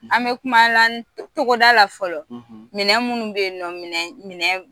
An bɛ kumala cogoda la fɔlɔ minɛn minnu bɛ yen minɛn